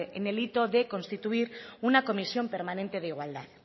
en el hito de constituir una comisión permanente de igualdad